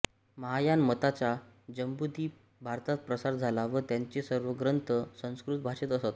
महायान मताचा जम्बुदीप भारतात प्रसार झाला व त्यांचे सर्व ग्रंथ संस्कृत भाषेत असत